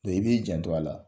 i b'i jan to a la.